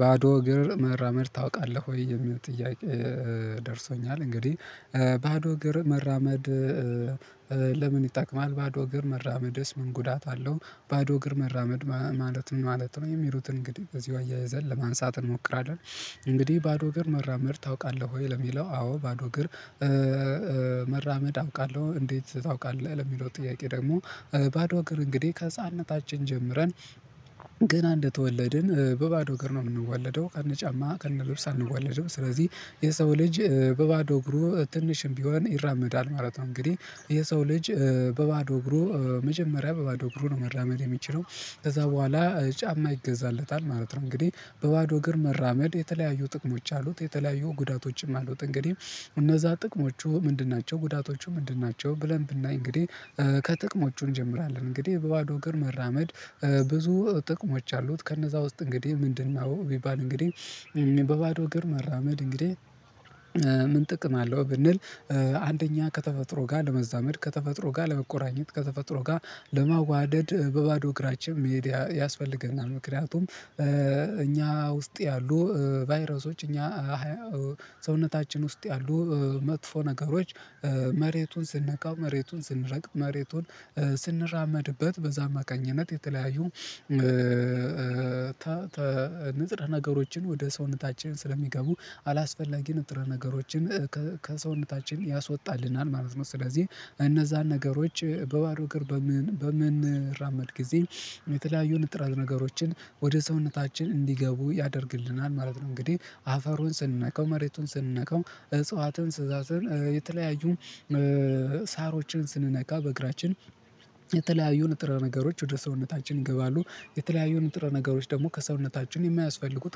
"ባዶ እግር መራመድ ታውቃለህ ወይ?" የሚለው ጥያቄ ደርሶኛል እንግዲህ፤ ባዶ እግር መራመድ ለምን ይጠቅማል? ባዶ እግር መራመድስ ምን ጉዳት አለው? ባዶ እግር መራመድ ማለት ምን ማለት ነው? የሚሉትን እንግዲህ በዚሁ አያይዘን ለማየት እንሞክራለን። እንግዲህ "ባዶ እግር መራመድ ታውቃለህ ወይ?" ለሚለው፤ አዎ ባዶ እግር መራመድ አውቃለሁ። "እንዴት ታውቃለህ?" ለሚለው ጥያቄ ደግሞ፤ ባዶ እግር እንግዲህ ከህፃንነታችን ጀምረን ገና እንደተወለድን በባዶ እግር ነው የምንወለደው ከነ ጫማ ከነ ልብስ አንወለድም ስለዚህ የሰው ልጅ በባዶ እግሩ ትንሽም ቢሆን ይራመዳል ማለት ነው እንግዲህ የሰው ልጅ በባዶ እግሩ መጀመሪያ በባዶ እግሩ ነው መራመድ የሚችለው። ከዛ በኋላ ጫማ ይገዛለታል ማለት ነው እንግዲህ በባዶ እግር መራመድ የተለያዩ ጥቅሞች አሉት። የተለያዩ ጉዳቶችም አሉት እንግዲህ እነዛ ጥቅሞቹ ምንድን ናቸው ጉዳቶቹ ምንድን ናቸው ብለን ብናይ እንግዲህ ከጥቅሞቹ እንጀምራለን እንግዲህ በባዶ እግር መራመድ ብዙ ጥቅሞች አሉት ከነዛ ውስጥ እንግዲህ ምንድነው ቢባል እንግዲህ በባዶ እግር መራመድ እንግዲህ ምን ጥቅም አለው ብንል አንደኛ ከተፈጥሮ ጋር ለመዛመድ ከተፈጥሮ ጋር ለመቆራኘት ከተፈጥሮ ጋር ለማዋደድ በባዶ እግራችን መሄድ ያስፈልገናል። ምክንያቱም እኛ ውስጥ ያሉ ቫይረሶች እኛ ሰውነታችን ውስጥ ያሉ መጥፎ ነገሮች መሬቱን ስንነካው መሬቱን ስንረግጥ መሬቱን ስንራመድበት በዛ አማካኝነት የተለያዩ ንጥር ነገሮችን ወደ ሰውነታችን ስለሚገቡ አላስፈላጊ ንጥረ ነገሮችን ከሰውነታችን ያስወጣልናል ማለት ነው። ስለዚህ እነዛን ነገሮች በባዶ እግር በምን በምንራመድ ጊዜ የተለያዩ ንጥረ ነገሮችን ወደ ሰውነታችን እንዲገቡ ያደርግልናል ማለት ነው። እንግዲህ አፈሩን ስንነካው መሬቱን ስንነካው እጽዋትን ስዛዝን የተለያዩ ሳሮችን ስንነካ በእግራችን የተለያዩ ንጥረ ነገሮች ወደ ሰውነታችን ይገባሉ። የተለያዩ ንጥረ ነገሮች ደግሞ ከሰውነታችን የማያስፈልጉት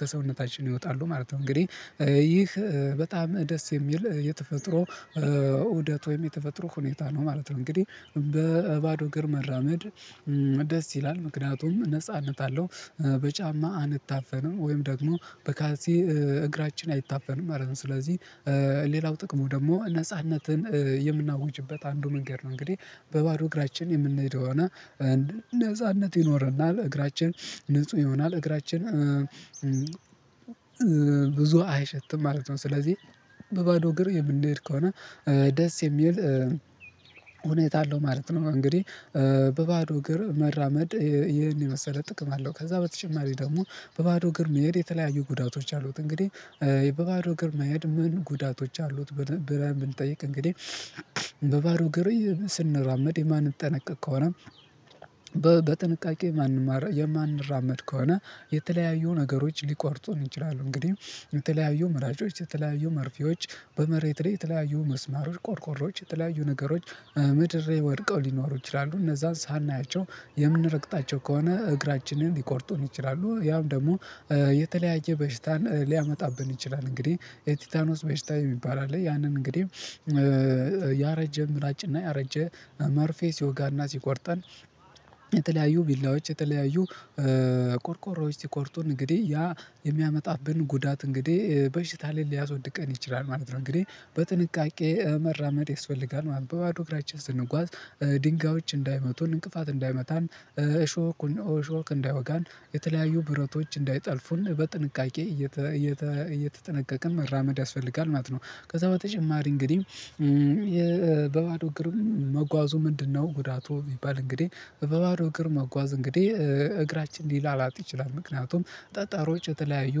ከሰውነታችን ይወጣሉ ማለት ነው እንግዲህ። ይህ በጣም ደስ የሚል የተፈጥሮ ኡደት ወይም የተፈጥሮ ሁኔታ ነው ማለት ነው። እንግዲህ በባዶ እግር መራመድ ደስ ይላል ምክንያቱም ነጻነት አለው በጫማ አንታፈንም ወይም ደግሞ በካልሲ እግራችን አይታፈንም ማለት ነው። ስለዚህ ሌላው ጥቅሙ ደግሞ ነጻነትን የምናውጅበት አንዱ መንገድ ነው እንግዲህ በባዶ እግራችን የምንሄደ ከሆነ እና እንደ ነጻነት ይኖረናል እግራችን ንጹህ ይሆናል እግራችን ብዙ አይሸትም ማለት ነው። ስለዚህ በባዶ እግር የምንሄድ ከሆነ ደስ የሚል ሁኔታ አለው ማለት ነው። እንግዲህ በባዶ እግር መራመድ ይሄን የመሰለ ጥቅም አለው። ከዛ በተጨማሪ ደግሞ በባዶ እግር መሄድ የተለያዩ ጉዳቶች አሉት እንግዲህ በባዶ እግር መሄድ ምን ጉዳቶች አሉት ብለን ብንጠይቅ እንግዲህ በባዶ እግር ስንራመድ የማንጠነቀቅ ከሆነ በጥንቃቄ የማንማር የማንራመድ ከሆነ የተለያዩ ነገሮች ሊቆርጡን ይችላሉ እንግዲህ የተለያዩ ምላጮች የተለያዩ መርፌዎች በመሬት ላይ የተለያዩ ሚስማሮች ቆርቆሮዎች የተለያዩ ነገሮች ምድር ላይ ወድቀው ሊኖሩ ይችላሉ። እነዛን ሳናያቸው የምንረግጣቸው ከሆነ እግራችንን ሊቆርጡን ይችላሉ ያም ደግሞ የተለያየ በሽታን ሊያመጣብን ይችላል እንግዲህ የቲታኖስ በሽታ የሚባል አለ ያንን እንግዲህ ያረጀ ምላጭ እና ያረጀ መርፌ ሲወጋና ሲቆርጠን የተለያዩ ቢላዎች የተለያዩ ቆርቆሮዎች ሲቆርጡን እንግዲህ ያ የሚያመጣብን ጉዳት እንግዲህ በሽታ ላይ ሊያስወድቀን ይችላል ማለት ነው። እንግዲህ በጥንቃቄ መራመድ ይስፈልጋል ማለት ነው። በባዶ እግራችን ስንጓዝ ድንጋዮች እንዳይመቱን እንቅፋት እንዳይመታን እሾኩን እሾክ እንዳይወጋን የተለያዩ ብረቶች እንዳይጠልፉን በጥንቃቄ እየተ እየተ እየተጠነቀቀን መራመድ ያስፈልጋል ማለት ነው። ከዛ በተጨማሪ እንግዲህ የ በባዶ እግር መጓዙ ምንድነው ጉዳቱ ቢባል እንግዲህ በባዶ እግር መጓዙ እንግዲህ እግራችን ሊላላጥ ይችላል። ምክንያቱም ጠጣሮች የተለያዩ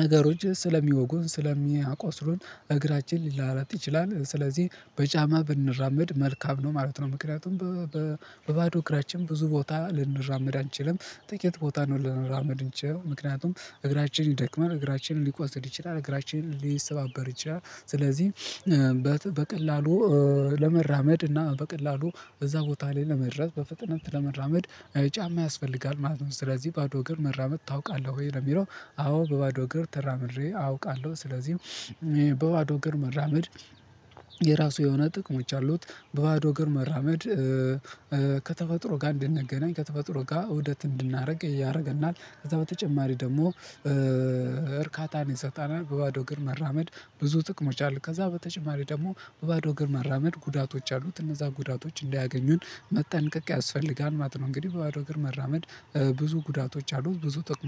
ነገሮች ስለሚወጉን ስለሚያቆስሉን እግራችን ሊላላጥ ይችላል። ስለዚህ በጫማ ብንራመድ መልካም ነው ማለት ነው ምክንያቱም በ በ በባዶ እግራችን ብዙ ቦታ ልንራመድ አንችልም። ጥቂት ቦታ ነው ልንራመድ ምንችለው። ምክንያቱም እግራችን ይደክማል እግራችን ሊቆስል ይችላል እግራችን ሊሰባበር ይችላል። ስለዚህ በቀላሉ ለመራመድ እና በቀላሉ እዛ ቦታ ላይ ለመድረስ በፍጥነት ለመራመድ ጫማ ያስፈልጋል ማለት ነው። ስለዚህ "ባዶ እግር መራመድ ታውቃለህ ወይ?" ለሚለው አዎ በባዶ እግር ተራምሬ አውቃለሁ። ስለዚህ በባዶ እግር መራመድ የራሱ የሆነ ጥቅሞች አሉት። በባዶ እግር መራመድ ከተፈጥሮ ጋር እንድንገናኝ ከተፈጥሮ ጋር ኡደት እንድናደርግ ያደርገናል። ከዛ በተጨማሪ ደግሞ እርካታን ይሰጣናል። በባዶ እግር መራመድ ብዙ ጥቅሞች አሉት። ከዛ በተጨማሪ ደግሞ በባዶ እግር መራመድ ጉዳቶች አሉት እነዛ ጉዳቶች እንዳያገኙን መጠንቀቅ ያስፈልጋል ማለት ነው። እንግዲህ በባዶ እግር መራመድ ብዙ ጉዳቶች አሉት ብዙ ጥቁሞ